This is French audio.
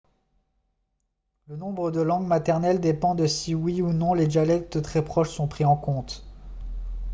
le nombre de langues maternelles dépend de si oui ou non les dialectes très proches sont pris en compte